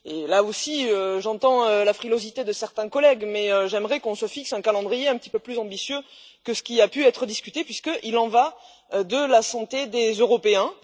Là aussi, j'entends la frilosité de certains collègues, mais j'aimerais qu'on se fixe un calendrier un petit peu plus ambitieux que ce qui a pu être discuté, puisqu'il y va de la santé des Européens.